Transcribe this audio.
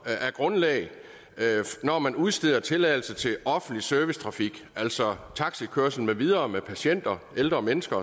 er grundlaget når man udsteder tilladelse til offentlig servicetrafik altså taxakørsel med videre med patienter ældre mennesker